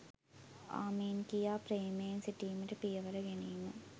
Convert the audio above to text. ආමෙන් කියා ප්‍රේමයෙන් සිටීමට පියවර ගැනීම